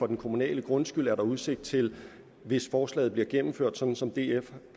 den kommunale grundskyld er udsigt til hvis forslaget bliver gennemført sådan som df